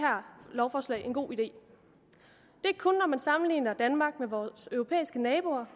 lovforslag en god idé det er kun når man sammenligner danmark med vores europæiske naboer